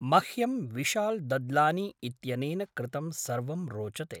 मह्यं विशाल् दद्लानी इत्यनेन कृतं सर्वं रोचते।